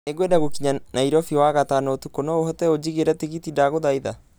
Nĩ ngwenda gũkinya Nairobi wagatano ũtukũ no ũhote ũnjigĩre tigiti ndagũthaitha